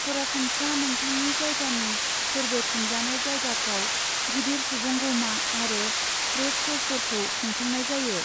सरासनस्रा नोंथांनि जायगानि फोरबो खुंजानाय जायगाफ्राव गिदिर सुबुंगौमा आरो ट्रेड श'फोरखौ खुंफुंनाय जायो।